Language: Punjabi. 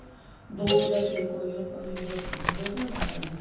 ਦੋ ਜਾ ਤਿੰਨ ਕੋਲੀਆਂ ਪਾਣੀ ਦੀਆਂ ਪਾਈ ਬਹੁਤਾ ਨਾ ਪਾਈ